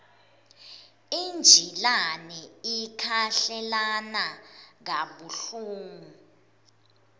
injilane ikhahlelana kabuhlungu